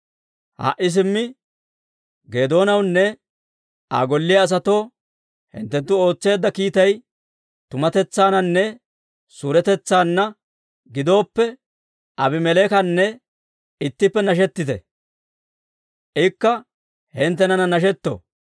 Ha"i simmi Geedoonawunne Aa golliyaa asatoo hinttenttu ootseedda kiittay tumatetsaananne suuretetsaanna gidooppe, Aabimeleekana ittippe nashetite; ikka hinttenana nashetto.